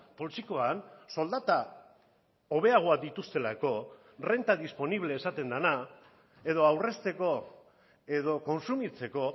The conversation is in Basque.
poltsikoan soldata hobeagoak dituztelako renta disponible esaten dena edo aurrezteko edo kontsumitzeko